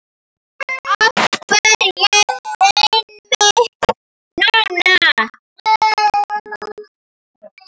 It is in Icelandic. Af hverju einmitt núna?